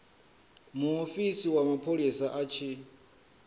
muofisi wa mapholisa a tshi